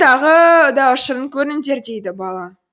тағы да ұшырын көріңдер дейді бала